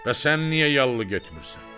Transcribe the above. Bəs sən niyə yallı getmirsən?